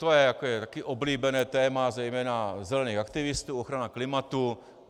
To je také oblíbené téma zejména zelených aktivistů, ochrana klimatu.